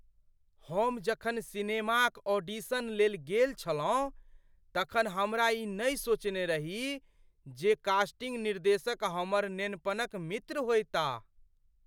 हम जखन सिनेमाक ऑडिशन लेल गेल छलहुँ तखन हमरा ई नहि सोचने रही जे कास्टिंग निर्देशक हमर नेनपनक मित्र होयताह।